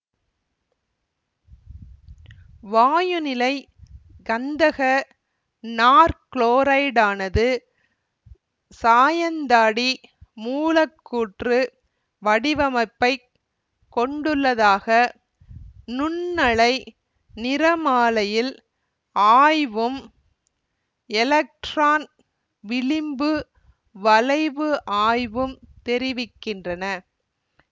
வாயுநிலை கந்தக நாற்குளோரைடானது சாயந்தாடி மூலக்கூற்று வடிவமப்பைக் கொண்டுள்ளதாக நுண்ணலை நிறமாலையில் ஆய்வும் எலக்ட்ரான் விளிம்பு வளைவு ஆய்வும் தெரிவிக்கின்றன